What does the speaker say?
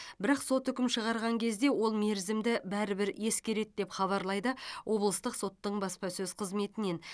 бірақ сот үкім шығарған кезде ол мерзімді бәрібір ескереді деп хабарлайды облыстық соттың баспасөз қызметінен